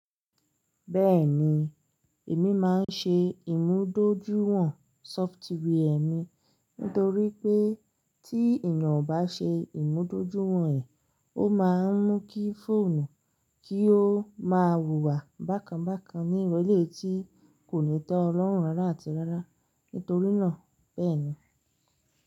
Bẹ́ẹ̀ni, èmi máa ń ṣe ìmúdójúìwọ̀n sọfitíwì è mi, nítorí pé tí èèyàn ò bá ṣe ìmúdójúìwọ̀n ẹ̀, ó máa ń mú kí fóònù kí ó máa hùwà bákan bákan ní ìrọ̀lẹ́ tí kò ní tọ́ Ọlọ́run rárá àti rárá. Nítorí náà bẹ́ẹ̀ ni.